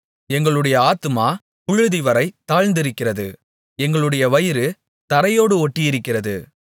எங்களுடைய ஆத்துமா புழுதிவரை தாழ்ந்திருக்கிறது எங்களுடைய வயிறு தரையோடு ஒட்டியிருக்கிறது